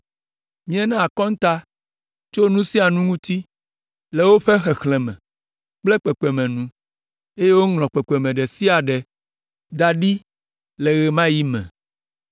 Míena akɔnta tso nu sia nu ŋuti, le woƒe xexlẽme kple kpekpeme nu, eye woŋlɔ kpekpeme ɖe sia ɖe da ɖi le ɣe ma ɣi me.